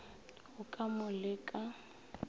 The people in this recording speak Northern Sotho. go ka mo le ka